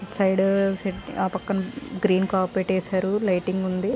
ఇటు సైడ్ ఆ పక్కన గ్రీన్ కార్పెట్ వేశారు. లైటింగ్ ఉంది.